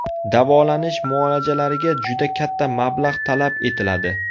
Davolanish muolajalariga juda katta mablag‘ talab etiladi.